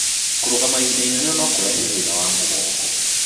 Kũrũgama ihinda inene no kũrehe thĩna wa mũgongo